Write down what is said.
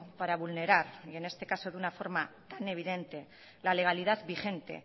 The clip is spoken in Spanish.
para vulnerar y en este caso de una forma tan evidente la legalidad vigente